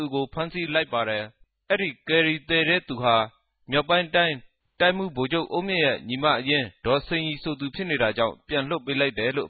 ူကို ဖမ်းဆီးတဲ့အခၝမြာ ေူမာက်ပိုင်းတိုင်း တိုင်းမြြး ဗိုလ်ခဵြပ် အုန်းူမင့်ရဲ့ ညီမအရင်း ဒေၞစိန်ရီူဖစ်နေတာေုကာင့် ူပန်လြတ်ပေးလိုက်တယ်လို